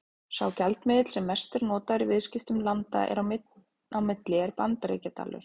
Sá gjaldmiðill sem mest er notaður í viðskiptum landa á milli er Bandaríkjadalur.